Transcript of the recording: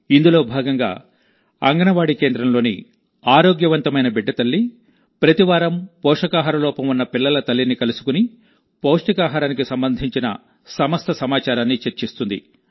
ఇందులోభాగంగా అంగన్వాడీ కేంద్రంలోని ఆరోగ్యవంతమైన బిడ్డ తల్లి ప్రతివారం పోషకాహార లోపం ఉన్న పిల్లల తల్లిని కలుసుకుని పౌష్టికాహారానికి సంబంధించిన సమస్త సమాచారాన్ని చర్చిస్తుంది